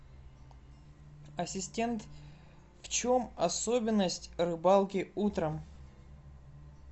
ассистент в чем особенность рыбалки утром